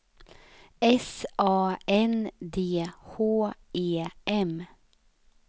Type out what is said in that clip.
S A N D H E M